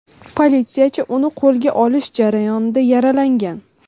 Politsiyachi uni qo‘lga olish jarayonida yaralagan.